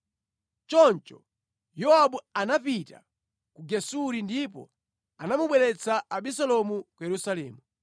Choncho Yowabu anapita ku Gesuri ndipo anamubweretsa Abisalomu ku Yerusalemu.